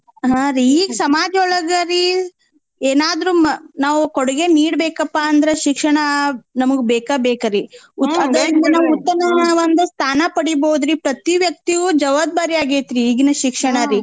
ಹಾ ರೀ ಈಗ್ ಸಮಾಜ್ ಒಳ್ಗ ರೀ ಏನಾದ್ರೂ ಮ್ ನಾವ್ ಕೊಡ್ಗೆನೀಡ್ ಬೇಕ್ಪಾ ಅಂದ್ರ ಶಿಕ್ಷಣಾ ನಮ್ಗ್ ಬೇಕ ಬೇಕ್ರೀ ಉತ್ತಮ ಒಂದ್ ಸ್ಥಾನ ಪಡಿಬೌದ್ರಿ ಪ್ರತಿ ವ್ಯಕ್ತಿಯೂ ಜವಾಬ್ದಾರಿ ಆಗೇತ್ರೀ ಈಗಿನ್ ಶಿಕ್ಷಣ ರೀ .